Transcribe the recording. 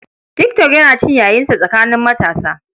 Tik tok yana cin yayinsa tsakanin matasa.